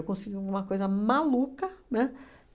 Eu consegui uma coisa maluca, né?